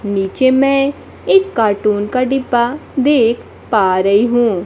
नीचे मै एक कार्टून का डिब्बा देख पा रही हूं।